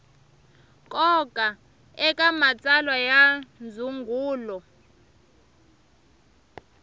nkoka eka matsalwa ya ndzungulo